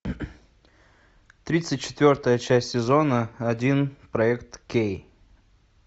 тридцать четвертая часть сезона один проект кей